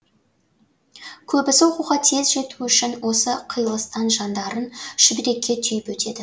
көбісі оқуға тез жету үшін осы қиылыстан жандарын шүберекке түйіп өтеді